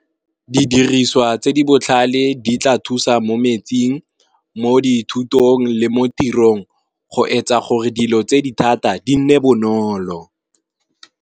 Didiriswa tse di botlhale di tla thusa mo metsing, mo dithutong le mo tirong go etsa gore dilo tse di thata di nne bonolo.